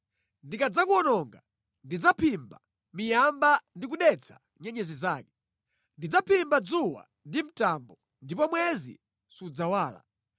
Ndikadzakuwononga, ndidzaphimba miyamba ndikudetsa nyenyezi zake. Ndidzaphimba dzuwa ndi mtambo, ndipo mwezi sudzawala.